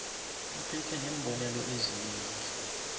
iphethe neembonelo ezinengi